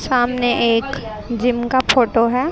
सामने एक जिम का फोटो है।